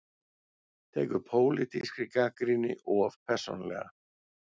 Tekur pólitískri gagnrýni of persónulega